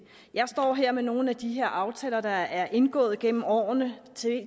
jeg står her med nogle af de aftaler der er indgået gennem årene